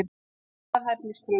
Aðrar hæfniskröfur: